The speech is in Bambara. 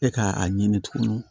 E ka a ɲini tugun